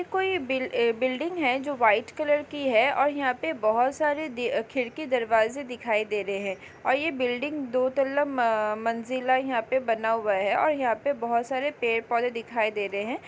ये कोई बिल ए बिल्डिंग है जो वाइट कलर की है और यहाँ पे बहोत सारे खिड़की दरवाज़े दिखाई दे रहे है और ये बिल्डिंग दो तल्ला मम्म मंज़िला यहाँ पे बना हुआ है और यहाँ पे बहोत सारे पेड़-पौधे दिखाई दे रहे है।